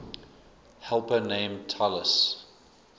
helper named talus